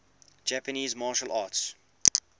japanese martial arts